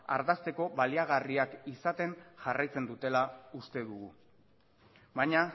ardazteko baliagarriak izaten jarraitzen dutela uste dugu baina